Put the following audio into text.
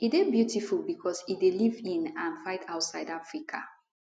e dey beautiful becos e dey live in and fight outside of africa